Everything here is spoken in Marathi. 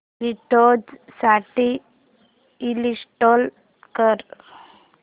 विंडोझ साठी इंस्टॉल कर